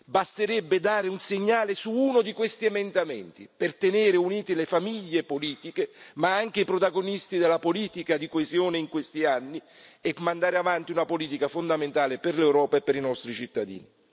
Basterebbe dare un segnale su uno di questi emendamenti per tenere unite le famiglie politiche, ma anche i protagonisti della politica di coesione in questi anni e mandare avanti una politica fondamentale per l'Europa e per i nostri cittadini.